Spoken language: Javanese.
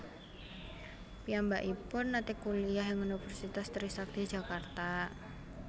Piyambakipun nate kuliah ing Universitas Trisakti Jakarta